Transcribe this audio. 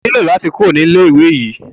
O nílò láti kúrò ní ilé ìwé yìí.